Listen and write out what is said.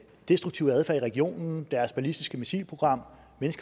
destruktive adfærd i regionen deres ballistiske missilprogram